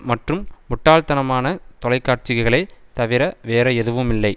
மற்றும் முட்டாள்தனமான தொலைக்காட்சிகளே தவிர வேறு எதுவுமில்லை